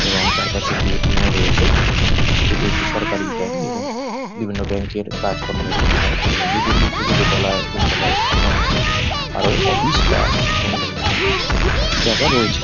এবং তার পাশে একটি এ .টি .এম ও রয়েছে। এটি একটি সরকারি ব্যাঙ্ক এবং বিভিন্ন ব্যাঙ্ক -এর কাজকর্ম এখানে হয় এই বিল্ডিং -টির দোতালায় তিনতলায় অন্যান্য অফিস বা কোনো জায়গা রয়েছে ।